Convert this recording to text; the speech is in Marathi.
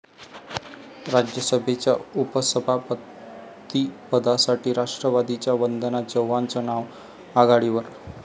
राज्यसभेच्या उपसभापतीपदासाठी राष्ट्रवादीच्या वंदना चव्हाणांचं नाव आघाडीवर